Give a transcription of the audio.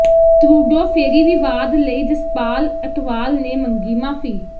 Trudeau ਫੇਰੀ ਵਿਵਾਦ ਲਈ ਜਸਪਾਲ ਅਟਵਾਲ ਨੇ ਮੰਗੀ ਮਾਫੀ